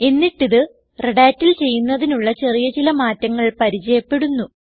എന്നിട്ട് ഇത് Redhatൽ ചെയ്യുന്നതിനുള്ള ചെറിയ ചില മാറ്റങ്ങൾ പരിചയപ്പെടുന്നു